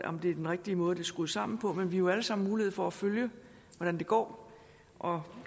om det er den rigtige måde det er skruet sammen på men vi har jo allesammen mulighed for at følge hvordan det går og